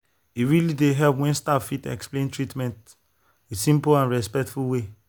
e really dey help when staff fit explain treatment with simple and respectful way.